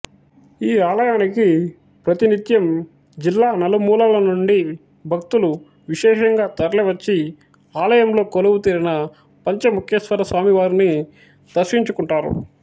ఈ ఆలయానికి ప్రతి నిత్యం జిల్లా నలుమూలలనుండి భక్తులు విశేషంగా తరలి వచ్చి ఆలయంలో కొలువుదీరిన పంచముఖేశ్వరస్వామివారిని దర్శించుకుంటారు